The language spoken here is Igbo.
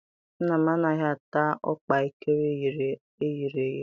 Nna m anaghị ata ọkpaekere eyere eye.